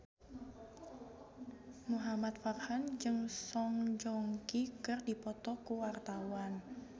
Muhamad Farhan jeung Song Joong Ki keur dipoto ku wartawan